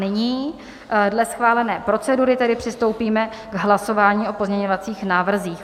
Nyní dle schválené procedury tedy přistoupíme k hlasování o pozměňovacích návrzích.